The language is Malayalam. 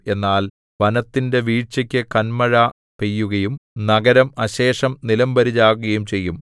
എന്നാൽ വനത്തിന്റെ വീഴ്ചയ്ക്കു കന്മഴ പെയ്യുകയും നഗരം അശേഷം നിലംപരിചാകുകയും ചെയ്യും